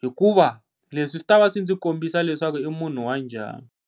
hikuva leswi swi ta va swi ndzi kombisa leswaku i munhu wa njhani.